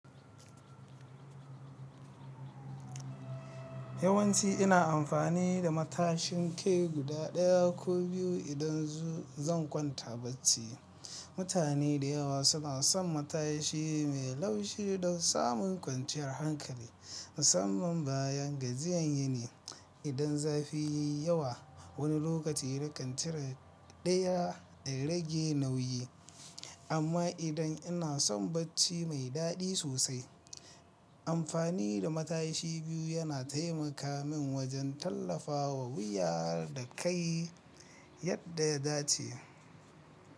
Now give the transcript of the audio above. Yawanci ina amfani da matashin kai guda daya ko biyu idan zan kwanta bacci. Mutane da yawa suna son matashi mai laushi don samun kwanciyar hankali, musamman bayan gajiyan yini. Idan zafi yayi yawa, wani lokaci nakan cire daya da rage nauyi. Amma idan ina son bacci mai daɗi sosai, amfani da matashi biyu yana taimaka min wajen tallafawa wuya da kai yadda ya dace.